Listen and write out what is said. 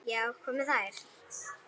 Já, hvað með þær?